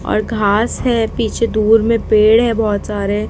और घास है। पीछे दूर में पेड़ है बहुत सारे।